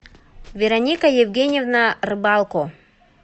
вероника евгеньевна рыбалко